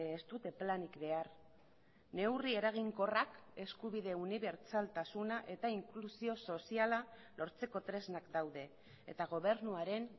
ez dute planik behar neurri eraginkorrak eskubide unibertsaltasuna eta inklusio soziala lortzeko tresnak daude eta gobernuaren